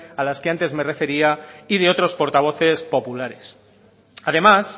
a las que antes me refería y de otros portavoces populares además